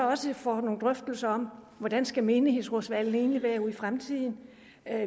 også får nogle drøftelser om hvordan skal menighedsrådsvalget egentlig være i fremtiden